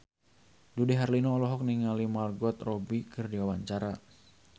Dude Herlino olohok ningali Margot Robbie keur diwawancara